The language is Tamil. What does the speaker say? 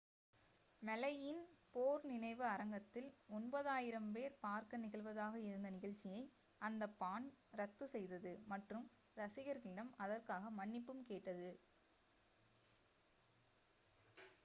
மௌய் யின் போர் நினைவு அரங்கத்தில் 9,000 பேர் பார்க்க நிகழ்வதாக இருந்த நிகழ்ச்சியை அந்த பாண்ட் ரத்து செய்தது மற்றும் ரசிகர்களிடம் அதற்காக மன்னிப்பும் கேட்டது